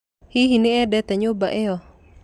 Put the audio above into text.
Hihi nĩ endete nyũmba ĩyo?